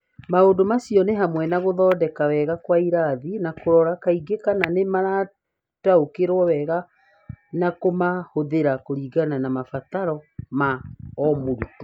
Maũndũ macio nĩ hamwe na gũthondeka wega kwa irathi na kũrora kaingĩ kana nĩ marataũkĩirũo wega na kũmahũthĩra kũringana na mabataro ma o mũrutwo.